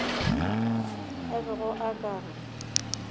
a bego a ka re